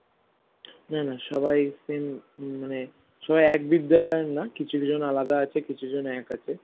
না না সবাই same মানে সবাই এক বিদ্যালয় এর না কিছু জন আলাদা আছে কিছু জন এক আছে